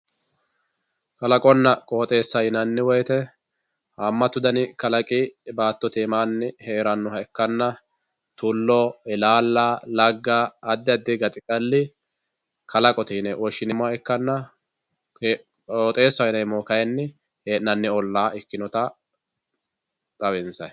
kalaqonna qodheesa yinanni woyiite haamatu dani kalaqi baattote anaanni heerannoha ikkanna tullo, ilalla, lagga addi addi gaxigali kalaqote yine woshshineemoha ikkanna qooxeesaho yineemohu kayiini he'nanni ollaa ikkinota xawinsayii.